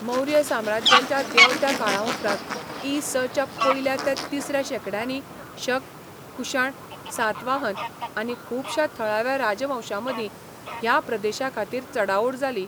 मौर्य साम्राज्याच्या देंवत्या काळाउपरांत इ.स.च्या पयल्या ते तिसऱ्या शेंकड्यांनी शक, कुशाण, सातवाहन आनी खुबश्या थळाव्या राजवंशांमदीं ह्या प्रदेशा खातीर चडाओड जाली.